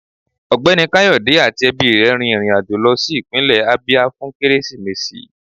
Ọgbẹni Kayode ati ẹbi rẹ rín irín ajọ̀ lọ si ipinle Abia fun Keresimesi